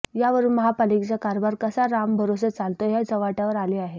यावरून महापालिकेचा कारभार कसा रामभरोसे चालतोय हे चव्हाट्यावर आले आहे